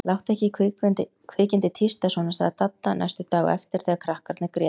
Láttu ekki kvikindið tísta svona sagði Dadda næstu daga á eftir þegar krakkarnir grétu.